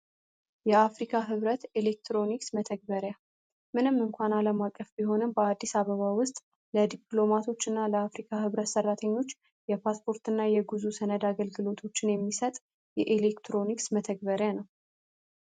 የአፍሪካ ህብረት ኤሌክትሮኒክስ መተግበሪያ ምንም እንኳ አለም አቀፍ ቢሆነም በአዲስ አበባ ውስጥ ለዲፖሎማቶች እና ለ አፍሪካ ህብረት ሰራተኞች ለፓሰፖርት እና የጉዞ ሰነድ አገልልግሎቶችን የሚሰጥ የኤክትሮኒክስ መተግበሪያ ነው።